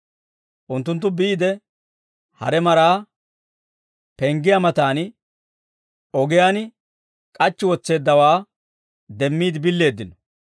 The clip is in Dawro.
Unttunttu biide, hare maraa penggiyaa matan ogiyaan k'achchi wotseeddawaa demmiide billeeddino.